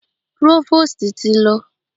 Próvòstì ti lọ.